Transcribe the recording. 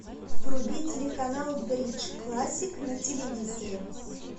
вруби телеканал бридж классик на телевизоре